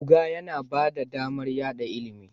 Buga yana ba da damar yada ilimi